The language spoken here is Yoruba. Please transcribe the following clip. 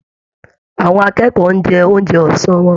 Àwọn akẹ́kọ̀ọ́ ń jẹun oúnjẹ ọsán wọn.